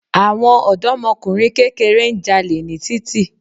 Àwọn òdọ́mọkùnrin kẹ́kẹrẹ́ ń jalè ní títì